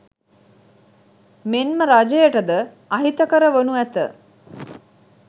මෙන්ම රජයට ද අහිතකර වනු ඇත.